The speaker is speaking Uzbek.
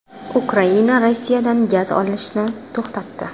Ukraina Rossiyadan gaz olishni to‘xtatdi.